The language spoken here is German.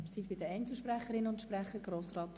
Wir kommen zu den Einzelsprechern.